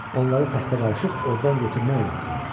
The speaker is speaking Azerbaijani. Onları taxta qarışıq ordan götürmək lazımdır.